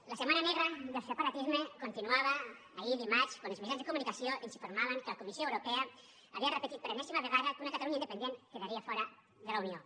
la setmana negra del separatisme continuava ahir dimarts quan els mitjans de comunicació ens informaven que la comissió europea havia repetit per enèsima vegada que una catalunya independent quedaria fora de la unió